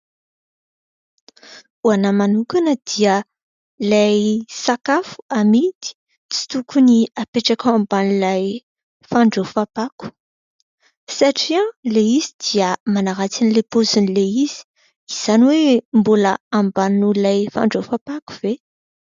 Ho ahy manokana dia ilay sakafo amidy tsy tokony apetraka ao amban'ilay fandraofam-pako satria ilay izy dia manaratsiny an'ilay paozin'ilay izy. Izany hoe mbola ambany noho ilay fandraofam-pako ve ?